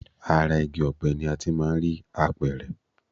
Ara igi ọ̀pẹ ni a ti máà ń rí apẹ̀rẹ̀.